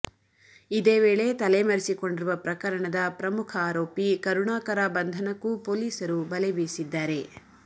ಇದೇ ವೇಳೆ ತಲೆಮರೆಸಿಕೊಂಡಿರುವ ಪ್ರಕರಣದ ಪ್ರಮುಖ ಆರೋಪಿ ಕರುಣಾಕರ ಬಂಧನಕ್ಕೂ ಪೊಲೀಸರು ಬಲೆ ಬೀಸಿದ್ದಾರೆ